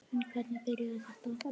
En hvernig byrjaði þetta?